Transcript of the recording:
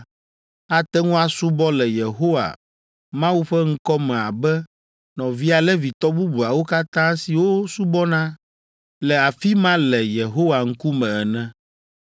ate ŋu asubɔ le Yehowa, Mawu ƒe ŋkɔ me abe nɔvia Levitɔ bubuawo katã siwo subɔna le afi ma le Yehowa ŋkume ene.